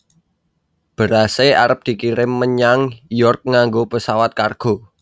Berase arep dikirim menyang York nganggo pesawat kargo